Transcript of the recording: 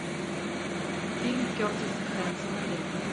фильм кертиса хэнсона лето